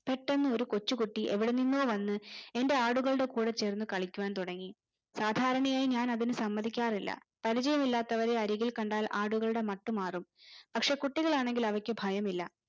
പെട്ടന്നു ഒരു കൊച്ചു കുട്ടി എവിടെന്നിന്നോ വന്ന് എന്റെ ആടുകളെ കൂടെ ചേർന്നു കളിക്കുവാൻ തുടങ്ങി സാധാരണയായി ഞാൻ അതിന് സമ്മതിക്കാറില്ല പരിചയം ഇല്ലാത്തവരെ അരികിൽ കണ്ടാൽ ആടുകളുടെ മട്ടു മാറും പക്ഷെ കുട്ടികളെ ആണെങ്കിൽ അവർക്കു ഭയമില്ല